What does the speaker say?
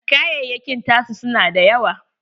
Kayayakin ta su na dayawa.